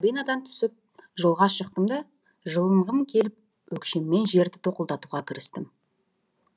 түсіп жолға шықтым да жылынғым келіп өкшеммен жерді тоқылдатуға кірістім